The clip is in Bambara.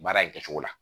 Baara in kɛcogo la